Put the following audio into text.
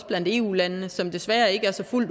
blandt eu landene som desværre ikke er så